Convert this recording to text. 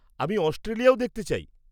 -আমি অস্ট্রেলিয়াও দেখতে চাই।